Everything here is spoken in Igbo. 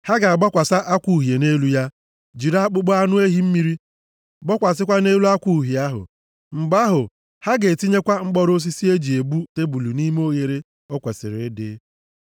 Ha ga-agbasakwa akwa uhie nʼelu ya, jiri akpụkpọ anụ ehi mmiri gbokwasịkwa nʼelu akwa uhie ahụ. Mgbe ahụ, ha ga-etinyekwa mkpọrọ osisi e ji ebu tebul nʼime oghere o kwesiri ịdị.